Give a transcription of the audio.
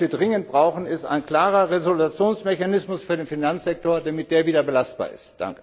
Was wir dringend brauchen, ist ein klarer Resolutionsmechanismus für den Finanzsektor, damit der wieder belastbar ist.